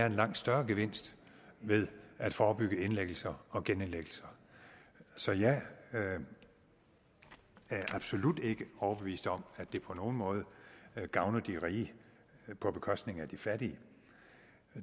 en langt større gevinst ved at forebygge indlæggelser og genindlæggelser så jeg er absolut ikke overbevist om at det på nogen måde gavner de rige på bekostning af de fattige